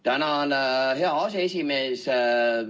Tänan, hea aseesimees!